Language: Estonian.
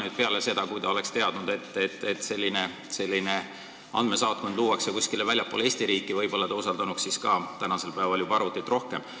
Ma arvan, et kui ta oleks teadnud, et selline andmesaatkond luuakse kuskile väljapoole Eesti riiki, siis ta võib-olla usaldanuks ka arvutit rohkem.